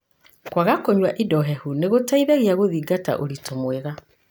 Kwaga kũnyua indo hehu nĩgũteithagia gũthingata ũrĩtũ mwega.